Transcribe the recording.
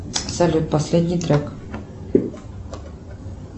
салют последний трек